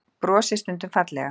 Brosi stundum fallega.